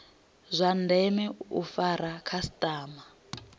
zwa ndeme u fara khasitama